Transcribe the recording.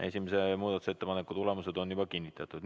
Esimese muudatusettepaneku hääletamise tulemused on juba kinnitatud.